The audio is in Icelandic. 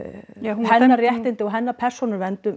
hennar réttindi og hennar persónuvernd